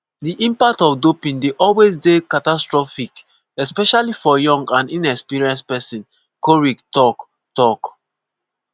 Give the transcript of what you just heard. "di impact of doping dey always dey catastrophic especially for young and inexperienced pesin" korir tok. tok.